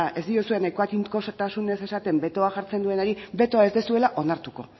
ez diozue nahiko tinkotasunez esaten betoa jartzen duenari betoa ez duzuela onartuko